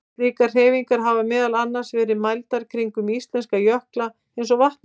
Slíkar hreyfingar hafa meðal annars verið mældar kringum íslenska jökla eins og Vatnajökul.